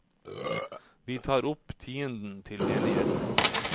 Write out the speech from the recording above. Vi tar opp tienden til menigheten.